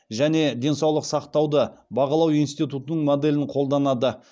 және денсаулық сақтауды бағалау институтының моделін қолданады